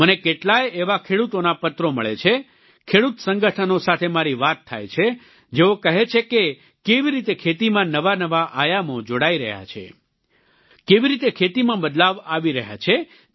મને કેટલાય એવા ખેડૂતોના પત્રો મળે છે ખેડૂત સંગઠનો સાથે મારી વાત થાય છે જેઓ કહે છે કે કેવી રીતે ખેતીમાં નવા નવા આયામો જોડાઈ રહ્યા છે કેવી રીતે ખેતીમાં બદલાવ આવી રહ્યો છે